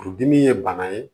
Furudimi ye bana ye